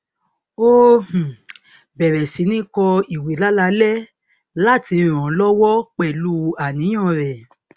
ó um bẹrẹ sí ní kọ ìwé láláalẹ láti ràn án lọwọ pẹlú àníyàn rẹ